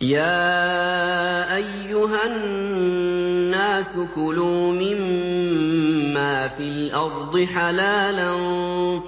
يَا أَيُّهَا النَّاسُ كُلُوا مِمَّا فِي الْأَرْضِ حَلَالًا